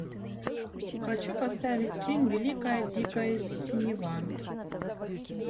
хочу поставить фильм великая дикая синева